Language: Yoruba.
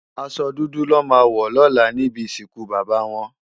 Àsò dúdú lò má wò lòlá nibi isinkú baba wòn